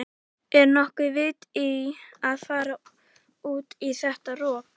Er nokkuð vit í að fara út í þetta rok?